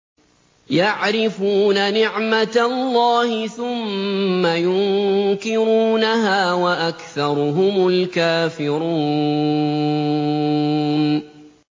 يَعْرِفُونَ نِعْمَتَ اللَّهِ ثُمَّ يُنكِرُونَهَا وَأَكْثَرُهُمُ الْكَافِرُونَ